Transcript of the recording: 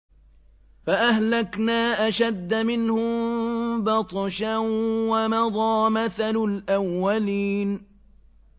فَأَهْلَكْنَا أَشَدَّ مِنْهُم بَطْشًا وَمَضَىٰ مَثَلُ الْأَوَّلِينَ